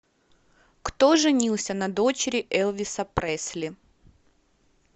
кто женился на дочери элвиса пресли